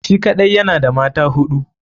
Shi kaɗai yana da mata hudu.